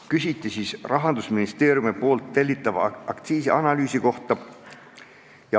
Küsiti Rahandusministeeriumi tellitava aktsiisianalüüsi kohta.